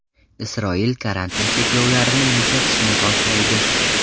Isroil karantin cheklovlarini yumshatishni boshlaydi.